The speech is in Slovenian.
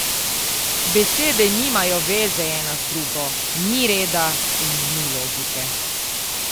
Besede nimajo veze ena z drugo, ni reda in ni logike.